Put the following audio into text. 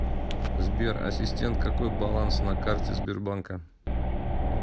сбер ассистент какой баланс на карте сбербанка